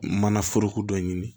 Mana foroko dɔ ɲini